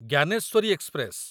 Gyaneshwari express